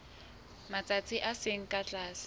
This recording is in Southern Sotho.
matsatsi a seng ka tlase